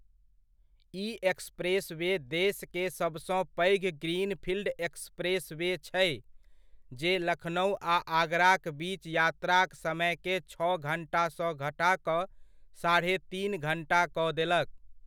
ई expressway देश के सबसँ पैघ ग्रीनफील्ड एक्सप्रेसवे छै, जे लखनउ आ आगराक बीच यात्राक समयकेँ छओ घण्टासँ घटा कऽ साढ़े तीन घण्टा कऽ देलक।